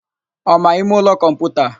Ọ ma ịmeụlọ kọmputa?